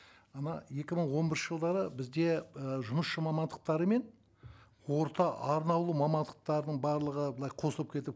мына екі мың он бірінші жылдары бізде і жұмысшы мамандықтары мен орта арнаулы мамандықтардың барлығы былай қосылып кетіп